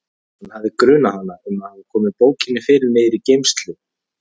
Hann hafði grunað hana um að hafa komið bókinni fyrir niðri í geymslu.